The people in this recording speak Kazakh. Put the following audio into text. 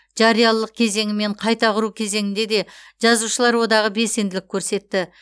жариялылық кезеңі мен қайта құру кезеңінде де жазушылар одағы белсенділік көрсетті